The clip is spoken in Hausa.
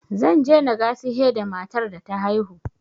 Zan je na gasihe da matar da ta haihu yanzu.